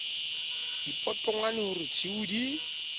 dipotongwane ho re tshiu di